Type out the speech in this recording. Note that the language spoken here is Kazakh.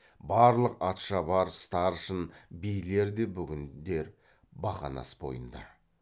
барлық атшабар старшын билер де бүгіндер бақанас бойында